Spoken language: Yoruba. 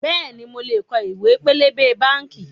Bẹ́ẹ̀ni, mo lè kọ ìwé pélébé báànkì